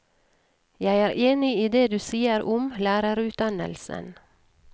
Jeg er enig i det du sier om lærerutdannelsen.